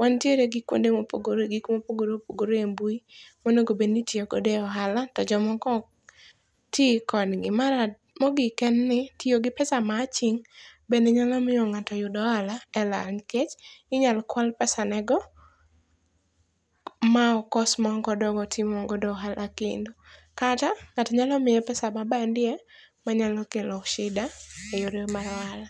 Wantiere gi kuonde mopogore opogore gik mopogore opogore e mbui monego bed ni itiyo kode e ohala to jomoko ok ti kodgi. Mogik en ni tiyo gi pesa ma aching' bende nyalo miyo ng'ato yud ohala e lal nikech inyalo kwal pesanego ma okos ma ok ok odog otim ohala kendo. Kata, ng'ato nyalo miye pesa ma bandia ma nyalo kelo sida e yore mar ohala.